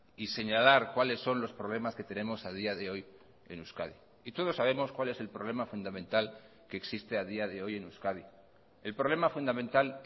y señalar cuáles son los problemas que tenemos a día de hoy en euskadi y todos sabemos cuál es el problema fundamental que existe a día de hoy en euskadi el problema fundamental